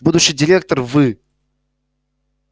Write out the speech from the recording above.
будущий директор вы